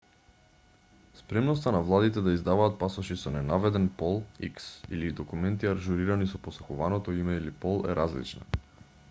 спремноста на владите да издаваат пасоши со ненаведен пол х или документи ажурирани со посакуваното име или пол е различна